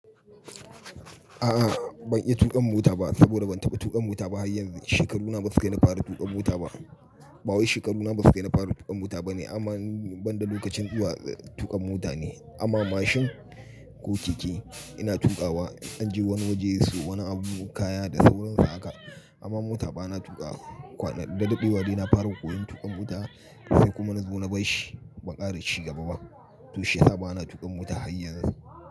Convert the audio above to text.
A'a ban iya tuƙa mota ba saboda ban taɓa tuƙa mota ba har yanzu. Shekaruna ba su kai na fara tuƙa mota ba. Ɓawai shekaruna ba su kai na fara tuƙa mota bane amma ban da lokacin zuwa tuƙa mota ne. Amma mashin ko keke ina tuƙawa inji wani waje insayo wani abu kaya da sauransu haka. Amma mota bana tuƙa. Kwana da daɗewa dai na faraa koyon tuƙa mota. Sai kuma na zaɓo na bar shi, ban ƙara ci gaba ba. To shi nai bana tuƙin mota har yanzu.